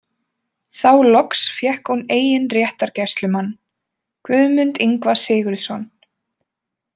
Þá loks fékk hún eigin réttargæslumann, Guðmund Ingva Sigurðsson.